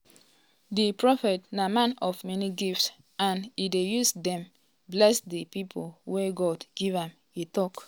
di prophet na man of many gifts and e dey use dem bless di pipo um wey god give am e um tok.